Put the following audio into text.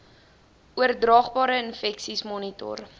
oordraagbare infeksies monitor